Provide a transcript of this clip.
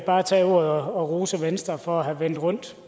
bare tage ordet og rose venstre for at have vendt rundt